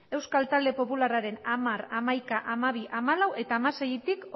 euskal talde popularraren hamar hamaika hamabi hamalau eta hamaseitik